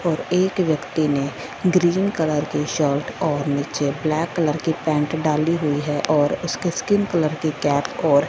और एक व्यक्ति ने ग्रीन कलर की शर्ट और नीचे ब्लैक कलर की पैंट डाली हुई है और उसके स्किन कलर की कैप और--